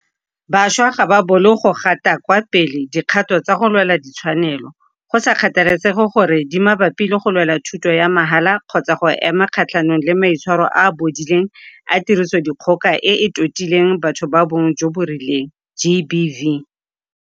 Bašwa ga ba bolo go gapa kwa pele dikgato tsa go lwela ditshwanelo, go sa kgathalesege gore di mabapi le go lwela thuto ya mahala kgotsa go ema kgatlhanong le maitshwaro a a bodileng a tirisodikgoka e e totileng batho ba bong jo bo rileng GBV.